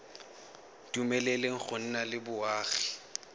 dumeleleng go nna le boagi